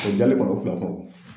O jali kɔni o